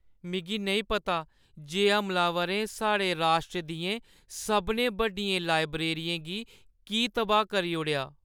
मिगी नेईं पता जे हमलावरें साढ़े राश्ट्र दियें सभनें बड्डियें लाइब्रेरियें गी की तबाह् करी ओड़ेआ।